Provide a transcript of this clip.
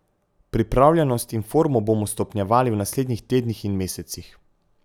Pripravljenost in formo bomo stopnjevali v naslednjih tednih in mesecih.